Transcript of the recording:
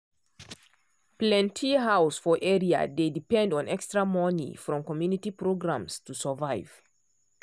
plenty house for area dey depend on extra money from community programs to survive.